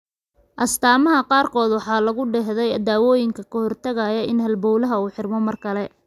Astaamaha qaarkood waxaa lagu dahaadhay daawooyin ka hortagaya in halbowlaha uu xirmo mar kale.